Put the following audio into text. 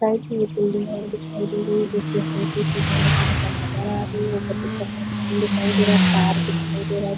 Side मे एक building हमें दिखाई दे रही है जिसकी हल्की सी झलक यहाँ पर नजर आ रही है। ऊपर आसमान दिखाई दे रहा है। तार दिखाई दे रहा है।